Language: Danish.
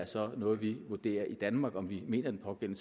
så er noget vi vurderer i danmark altså om vi mener at den